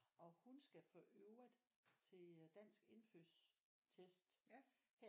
Og hun skal for øvrigt til dansk indfødtstest her